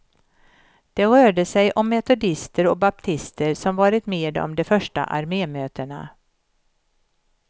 Det rörde sig om metodister och baptister, som varit med om de första armémötena.